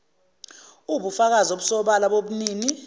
uwubufakazi obusobala bobunini